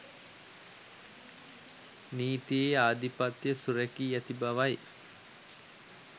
නීතියේ ආධිපත්‍යය සුරැකී ඇති බවයි.